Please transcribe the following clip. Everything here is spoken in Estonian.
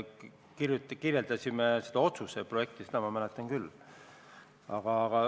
Me kirjeldasime seda otsuse projekti, seda ma mäletan.